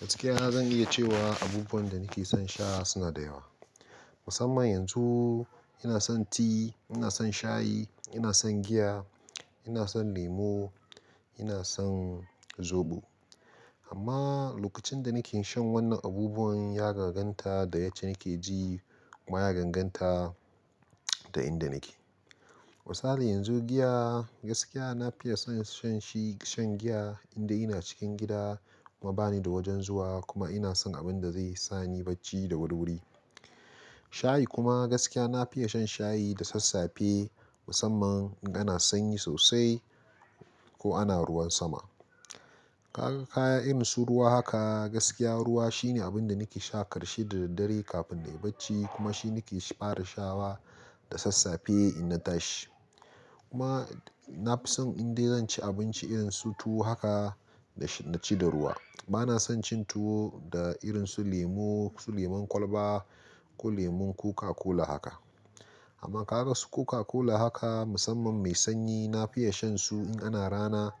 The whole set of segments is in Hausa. Gaskiya na zan iya cewa abubuwan da nake son sha suna da yawa. Musamman yanzu ina son ti, ina son shayi, ina son giya, ina son lemo, ina son zobo. Amma lokacin da nake shan wannan abubuwan ya ganganta da yace nake ji kuma ya ganganta da inda nake. Misali yanzu giya gaskiya na fiya son shan shi, shan giya inda ina cikin gida kuma bani da wajen zuwa kuma ina son abin da zai sani bacci da wuri wuri. Shayi kuma gaskiya na fiya shan shayi da sassafe musamman in ana sanyi sosai ko ana ruwan sama. Ka ga kaya irinsu ruwa haka gaskiya ruwa shine abin da nake sha ƙarshe da daddare kafin na yi bacci kuma shi nake fara sha ba da sassafe ina tashi. Kuma na fi son inda zan ci abinci irin su tuwo haka da ci da ruwa. Bana son cin tuwo da irin su lemo, su lemon kwalba ko lemon koka-kola haka. Amma ka ga su koka-kola haka musamman mai sanyi na fiya shan su in ana rana,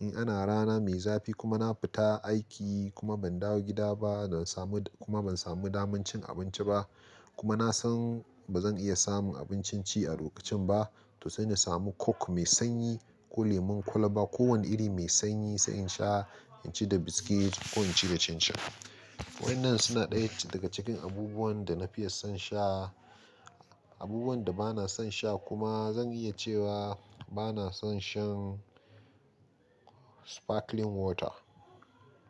in ana rana mai zafi kuma na fita aiki kuma ban dawo gida ba na samu kuma ban samu daman cin abinci ba kuma na san ba zan iya samun abin cin ci a lokacin ba to sai na samu coke mai sanyi ko lemon kwalba ko wani iri mai sanyi sai in sha, in ci da biskit ko in ci da cin cin. Waɗannan suna ɗaya daga cikin abubuwan da na fiya son sha. Abubuwan da bana son sha kuma zan iya cewa bana son shan sparkling water.